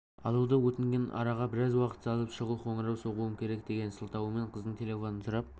алуды өтінген араға біраз уақыт салып шұғыл қоңырау соғуым керек деген сылтаумен қыздың телефонын сұрап